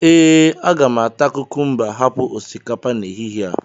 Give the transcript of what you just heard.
ee, aga m ata kukumba hapụ osikapa n'ehihie a